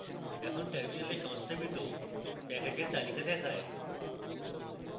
এখন terminal সংস্থাপিত প্যাকেজের তালিকা দেখায়